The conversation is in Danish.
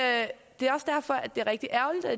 er også derfor det er rigtig ærgerligt at